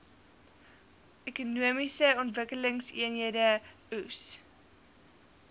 ekonomiese ontwikkelingseenhede eoes